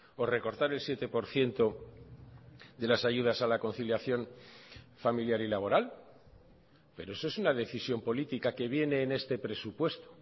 o recortar el siete por ciento de las ayudas a la conciliación familiar y laboral pero eso es una decisión política que viene en este presupuesto